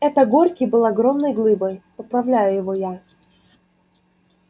это горький был огромной глыбой поправляю его я